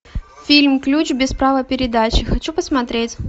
фильм ключ без права передачи хочу посмотреть